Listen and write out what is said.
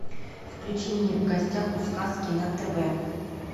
включи мне в гостях у сказки на тв